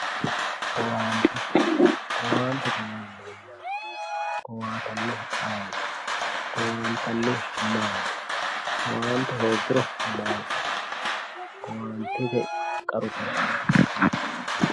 Owaante, owaante yaa mayyate, owaattanohu ayeeti, owaantanihu maati, owaante hooguro mayi makkano, owaantete qaru.